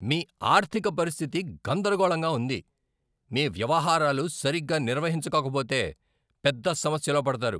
మీ ఆర్థిక పరిస్థితి గందరగోళంగా ఉంది! మీ వ్యవహారాలు సరిగ్గా నిర్వహించుకోకపోతే పెద్ద సమస్యలో పడతారు.